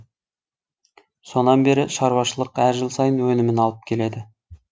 содан бері шаруашылық әр жыл сайын өнімін алып келеді